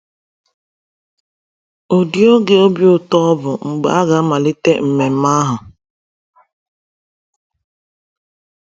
Ụdị oge obi ụtọ ọ bụ mgbe a ga-amalite mmemme ahụ!